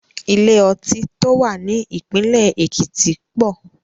Ilé ọtí tó wà ní ìpínlẹ̀ Èkìtì pọ̀.